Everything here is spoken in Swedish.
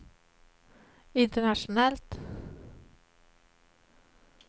internationellt